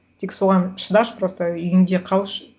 тек соған шыдашы просто үйіңде қалшы